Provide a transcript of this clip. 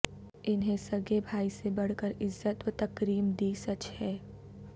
انہیں سگے بھائی سے بڑھ کر عزت وتکریم دی سچ ہے